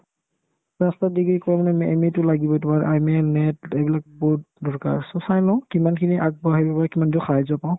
master degree কৰা মানে MA MA তো লাগিবই তোমাৰ MA NET এইবিলাক বহুত দৰকাৰ so চাই লও কিমানখিনি আগবঢ়াই নিবলে কিমান দূৰ সাহাৰ্য্য পাও